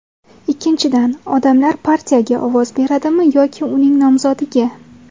Ikkinchidan, odamlar partiyaga ovoz beradimi yoki uning nomzodiga?